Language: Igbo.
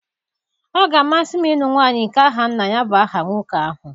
Ọ ga-amasị m ịlụ nwanyị nke aha nna ya bu aha nwoke ahụ